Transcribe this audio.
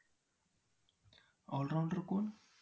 allrounder कोण?